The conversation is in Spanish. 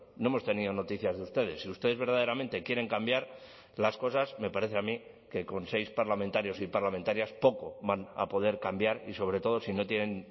no hemos tenido noticias de ustedes si ustedes verdaderamente quieren cambiar las cosas me parece a mí que con seis parlamentarios y parlamentarias poco van a poder cambiar y sobre todo si no tienen